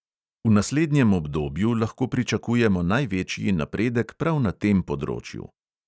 V naslednjem obdobju lahko pričakujemo največji napredek prav na tem področju.